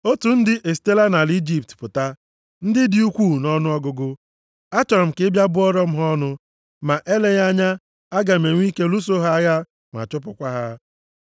‘Otu ndị esitela nʼala Ijipt pụta, ndị dị ukwuu nʼọnụọgụgụ. Achọrọ m ka ị bịa bụọrọ m ha ọnụ. Ma eleghị anya aga m enwe ike lụso ha agha, ma chụpụkwa ha.’ ”